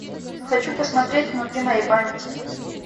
хочу посмотреть внутри моей памяти